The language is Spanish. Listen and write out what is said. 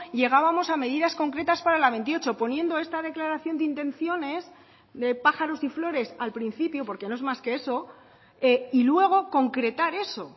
llegábamos a medidas concretas para la veintiocho poniendo esta declaración de intenciones de pájaros y flores al principio porque no es más que eso y luego concretar eso